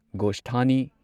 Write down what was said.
ꯒꯣꯁꯊꯥꯅꯤ